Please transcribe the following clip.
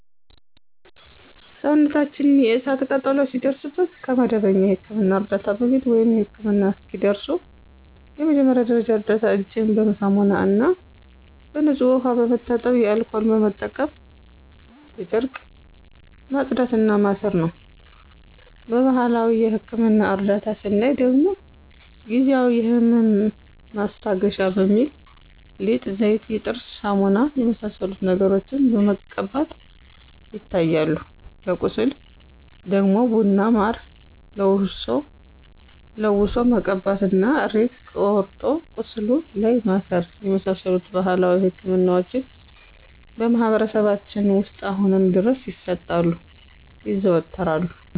ሰውነታችን የእሳት ቃጠሎ ሲደርስበት ከመደበኛ የሕክምና ዕርዳታ በፊት፣ ወይም ህክምና እስኪደርሱ የመጀመሪያ ደረጃ እርዳታ እጅን በሳሙናና በንጹህ ውሃ በመታጠብ አልኮል በመጠቀም በጨርቅ ማጽዳት እና ማሰር ነው። በባህላዊ የህክምና እርዳታ ስናይ ደግሞ ጊዜአዊ የህመም ማስታገሻ በሚል ሊጥ፣ ዘይት፣ የጥርስ ሳሙና የመሳሰሉትን ነገሮችን መቀባቶች ይታያሉ። ለቁስል ደግሞ ቡና በማር ለውሶ መቀባት እና ሬት ቆርጦ ቁስሉ ላይ ማሰር የመሳሰሉት ባህላዊ ህክምናዎች በማህበረሰባችን ውስጥ አሁንም ድረስ ይሰጣሉ (ይዘወተራሉ)።